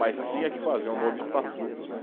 Mas tinha que fazer um novo estatuto, né.